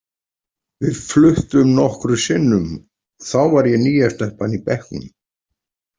Við fluttum nokkrum sinnum og þá var ég nýja stelpan í bekknum.